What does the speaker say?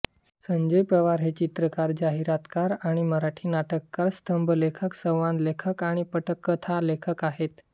संजय पवार हे चित्रकार जाहिरातकार आणि मराठी नाटककार स्तंभलेखक संवाद लेखक आणि पटकथा लेखक आहेत